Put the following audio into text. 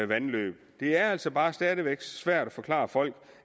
vandløb det er altså bare stadig væk svært at forklare folk